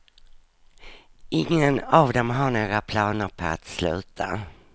Ingen av dem har några planer på att sluta.